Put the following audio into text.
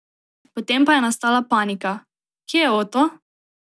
Potem pa je nastala panika: "Kje je Oto?